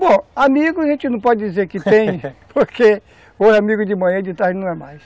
Bom, amigos a gente não pode dizer que tem, porque hoje amigo de manhã, de tarde não é mais.